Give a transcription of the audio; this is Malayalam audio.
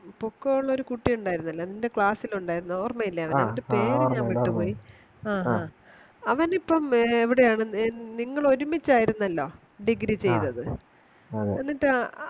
പോക്കോള്ളൊരു കുട്ടി ഉണ്ടാരുന്നില്ലേ നിൻറെ Class ൽ ഉണ്ടാരുന്നേ ഓർമ്മയില്ലേ അവനെ ആഹ് ആഹ് അവനിപ്പോ എവിടെയാണ് നിങ്ങള് ഒരുമിച്ചായിരുന്നല്ലോ Degree ചെയ്തത് എന്നിട്ടാ